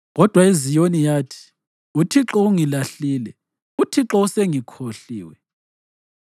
Kodwa iZiyoni yathi, “ UThixo ungilahlile, uThixo usengikhohliwe.”